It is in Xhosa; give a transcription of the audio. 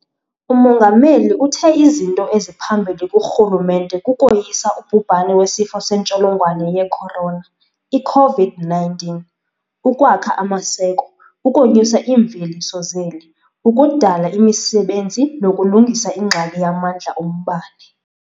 UMongameli uthe izinto eziphambili kurhulumente kukoyisa ubhubhane weSifo seNtsholongwane ye-Corona, i-COVID-19, ukwakha amaseko, ukonyusa iimveliso zeli, ukudala imisebenzi nokulungisa ingxaki yamandla ombane.